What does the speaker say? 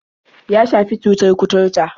Ya shafi cutar kuturta.